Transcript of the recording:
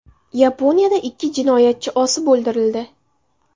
Yaponiyada ikki jinoyatchi osib o‘ldirildi.